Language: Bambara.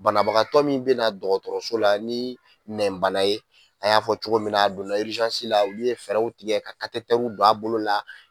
Banabagatɔ min bɛna dɔgɔtɔrɔso la ni nɛn bana ye, an y'a fɔ cogo min na , a donna la, olu ye fɛɛrɛw tigɛ, ka don a bolo la.